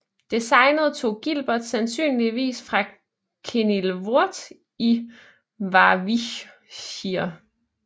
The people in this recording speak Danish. Designet tog Gilbert sandsynligvis fra Kenilworth i Warwickshire